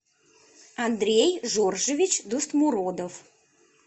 андрей жоржевич дустмуродов